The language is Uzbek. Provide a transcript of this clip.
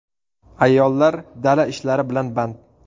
Ayollar dala ishlari bilan band.